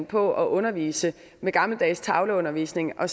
på at undervise med gammeldags tavleundervisning og